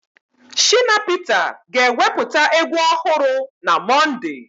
Shina Peter ga-ewepụta egwu ọhụrụ na Mọnde.